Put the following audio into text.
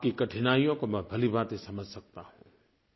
आपकी कठिनाइयों को मैं भलीभांति समझ सकता हूँ